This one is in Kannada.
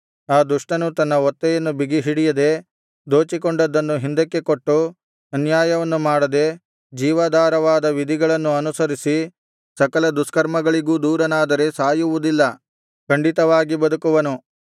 ಆ ದುಷ್ಟನು ತನ್ನ ಒತ್ತೆಯನ್ನು ಬಿಗಿಹಿಡಿಯದೆ ದೋಚಿಕೊಂಡದ್ದನ್ನು ಹಿಂದಕ್ಕೆ ಕೊಟ್ಟು ಅನ್ಯಾಯವನ್ನು ಮಾಡದೆ ಜೀವಾಧಾರವಾದ ವಿಧಿಗಳನ್ನು ಅನುಸರಿಸಿ ಸಕಲ ದುಷ್ಕರ್ಮಗಳಿಗೂ ದೂರನಾದರೆ ಸಾಯುವುದಿಲ್ಲ ಖಂಡಿತವಾಗಿ ಬದುಕುವನು